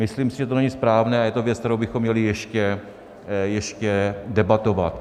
Myslím si, že to není správné a je to věc, kterou bychom měli ještě debatovat.